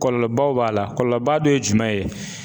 Kɔɔlɔbaw b'a la, kɔɔlɔba dɔ ye jumɛn ye?